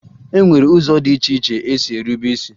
E nwere ụzọ dị iche iche esi erube is